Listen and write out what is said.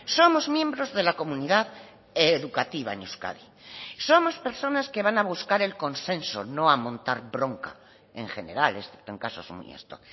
somos miembros de la comunidad educativa en euskadi somos personas que van a buscar el consenso no a montar bronca en general excepto en casos muy esto